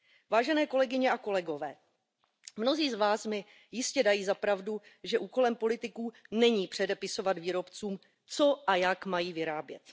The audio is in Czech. Vážené kolegyně a kolegové, mnozí z vás mi jistě dají za pravdu, že úkolem politiků není předepisovat výrobcům, co a jak mají vyrábět.